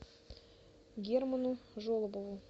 герману жолобову